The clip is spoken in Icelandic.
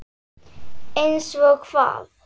Einsog hvað?